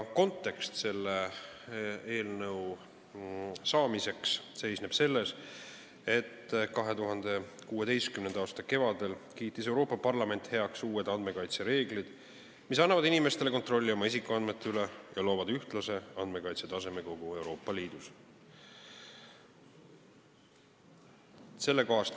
Kontekst seisneb selles, et 2016. aasta kevadel kiitis Euroopa Parlament heaks uued andmekaitsereeglid, mis annavad inimestele kontrolli oma isikuandmete üle ja loovad ühtlase andmekaitsetaseme kogu Euroopa Liidus.